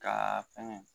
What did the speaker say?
Ka fɛngɛ